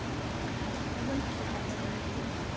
ও বলছে তোর দাদা বলেছিলে?